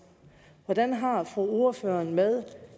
hvordan har ordføreren det med